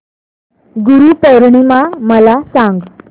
गुरु पौर्णिमा मला सांग